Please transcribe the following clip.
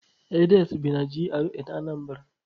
Edet bi na GRA na Anambra.